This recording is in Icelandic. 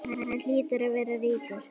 Hann hlýtur að vera ríkur.